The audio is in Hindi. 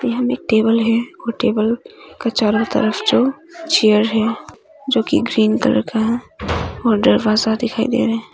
यहां में टेबल है और टेबल का चारों तरफ जो चेयर है जो कि ग्रीन कलर का है और दरवाजा दिखाई दे रहा है।